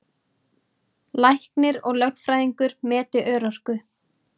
Læknir og lögfræðingur meti örorku